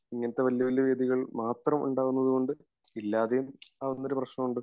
ഇങ്ങനത്തെ വലിയ വലിയ വേദികൾ മാത്രം ഇണ്ടാവുന്നതുകൊണ്ട് ഇല്ലാതെയും ആവുന്ന ഒരു പ്രശ്നമുണ്ട്